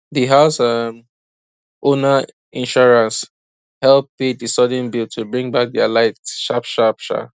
de house um owner insurance help pay the sudden bill to bring back their light sharp sharp um